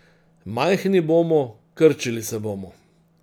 Majhni bomo, krčili se bomo.